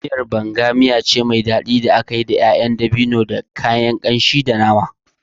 Miyar Banga miya ce mai daɗi da aka yi da ƴaƴan itacen dabino, da kayan kamshi iri-iri, da nama.